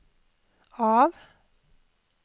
av